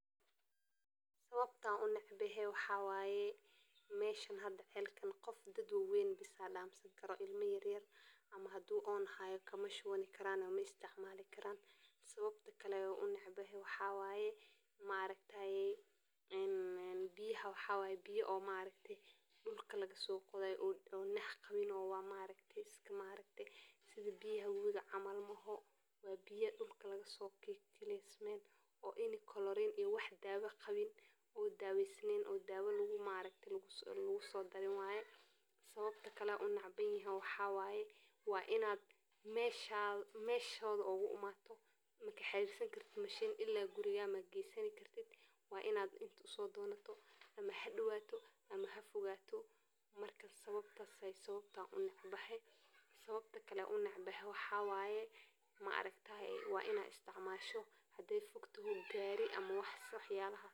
Sawabta unecbehe waxa waye, meshan xadha celkan dad wawen bis aa damsankaro, ilma yaryar ama hadu oon xayo kama shuwanikarani maisticmalikaran, sawabta kale unecbehe waxa waye maaraktaye, een biyaxa waxa waye biya oo maaraktaye dulka lagasogodayo oo nah qawin, wa maaraktaye iska maaragte, sidhi biya wowiga camal mooxo, wa biya dulka lagasokikalesmen, oo ini Chlorine iyo wax Dawa qawiin, oo dawesnen oo dawoo maarakte lagudarin waye, sawabta kale unecbanyehe waxa waye, wa inad meshoda oguimato, makaxeysankartid machine ila guriga magrysani kartid, wa inad int usodonato, ama hadow ama hafogato, Marka sawabta waye sawabta unecbahay, sawabta kale aan unecbaxay waxa waye maaraktaye wa inad isticmasho haday fogto gari ama waxyalaxas.